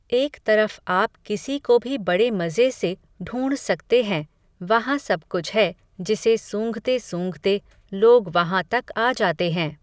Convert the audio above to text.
एक तरफ़ आप किसी को भी बड़े मज़े से ढ़ूंढ़ सकते हैं, वहां सब कुछ है, जिसे सूंघते सूंघते, लोग वहां तक आ जाते हैं